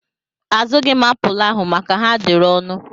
Azụghi m apụl ahụ maka ha dịịrị ọnụ.